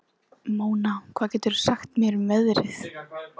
Mona, hvað geturðu sagt mér um veðrið?